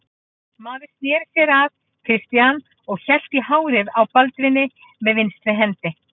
Maðurinn sneri sér að Christian og hélt í hárið á Baldvini með vinstri hendi.